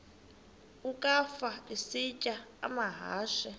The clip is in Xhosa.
ukafa isitya amahashe